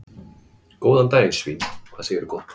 Góðan daginn svín, hvað segirðu gott?